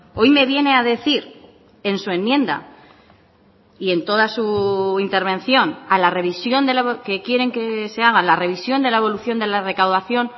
hoy me viene a decir en su enmienda y en toda su intervención a la revisión que quieren que se haga la revisión de la evolución de la recaudación